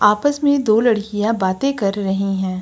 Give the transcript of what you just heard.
आपस में दो लड़कियां बातें कर रही हैं।